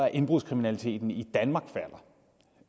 at indbrudskriminaliteten i danmark falder